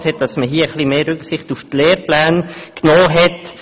Hier hat man etwas mehr Rücksicht auf die bestehenden Lehrpläne genommen.